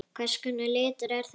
Hvers konar litur er þetta?